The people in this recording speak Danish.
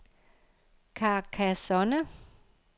Carcassonne